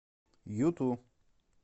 юту